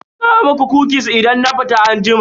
Zan kawo muku "kukis" idan na fita anjima.